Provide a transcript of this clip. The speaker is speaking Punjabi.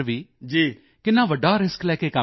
ਕਿੰਨਾ ਵੱਡਾ ਰਿਸਕ ਲੈ ਕੇ ਕੰਮ ਕਰ ਰਹੇ ਹਨ